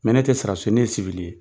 Mɛ ne tɛ saɔrasi ye ne ye